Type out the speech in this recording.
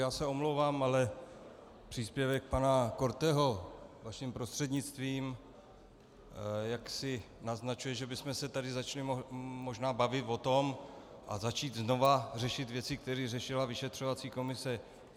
Já se omlouvám, ale příspěvek pana Korteho vaším prostřednictvím jaksi naznačuje, že bychom se tady začali možná bavit o tom a začít znovu řešit věci, které řešila vyšetřovací komise.